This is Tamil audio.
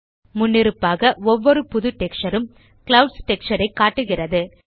முன்னிருப்பாக ஒவ்வொரு புது டெக்ஸ்சர் ம் க்ளவுட்ஸ் டெக்ஸ்சர் ஐ காட்டுகிறது